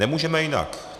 Nemůžeme jinak.